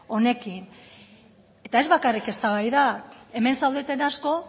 honekin eta ez bakarrik eztabaida hemen zaudeten asko